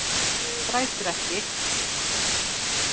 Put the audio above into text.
Grætur ekki.